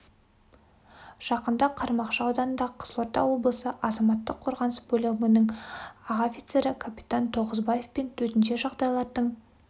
жақында қармақшы ауданында қызылорда облысы азаматтық қорғаныс бөлімінің аға офицері капитан тоғызбаев пен төтенше жағдайлардың